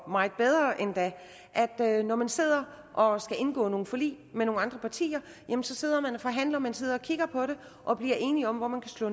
meget bedre endda at når man sidder og skal indgå nogle forlig med nogle andre partier sidder man og forhandler og man sidder og kigger på det og bliver enige om hvor man kan slå